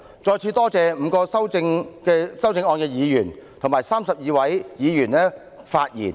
再次感謝5位提出修正案的議員，以及32位發言的議員。